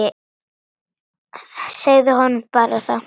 Segðu honum það bara!